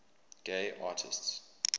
gay artists